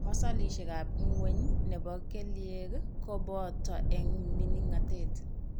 Masolishekab ng'weny nebo kelyek ko boto eng' mining'natet.